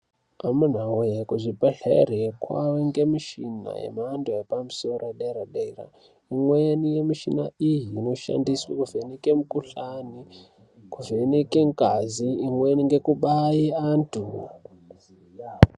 Amunawee kuzvibhedlere kwaange mishina yemhando yepamuso yedera dera umweni mishina iyi unoshandiswe kuvheneke mukuhlani kuvheneke ngazi imweni ngekubaye anthu .